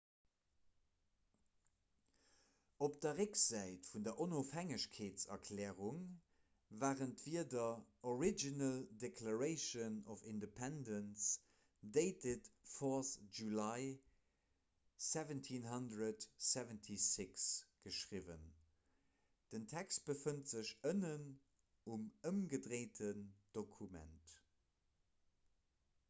op der récksäit vun der onofhängegkeetserklärung waren d'wierder original declaration of independence dated 4th july 1776 geschriwwen den text befënnt sech ënnen um ëmgedréinten dokument